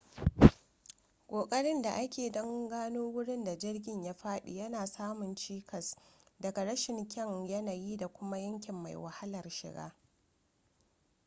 ƙoƙarin da ake don gano wurin da jirgin ya fadi yana samun cikas daga rashin kyan yanayi da kuma yanki mai wahalar shiga